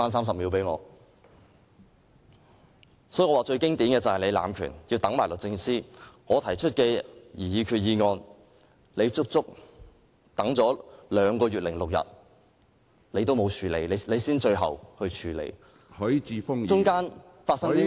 所以，我說最經典的便是你濫權，要"等埋律政司"，把我提出的擬議決議案擱下整整兩個月零6天才處理，其間究竟發生了甚麼事？